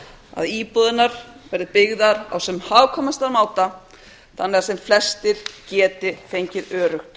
að íbúðirnar verði byggðar á sem hagkvæmastan máta þannig að sem flestir geti fengið öruggt